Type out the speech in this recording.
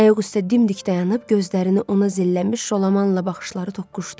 Ayaq üstə dimdik dayanıb gözlərini ona zilləmiş Jolamanla baxışları toqquşdu.